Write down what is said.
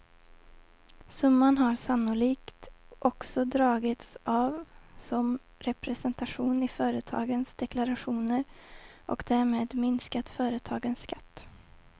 Summan har sannolikt också dragits av som representation i företagens deklarationer och därmed minskat företagens skatt.